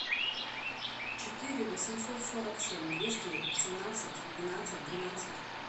четыре восемьсот сорок семь двести семнадцать двенадцать двенадцать